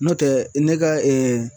N'o tɛ ne ka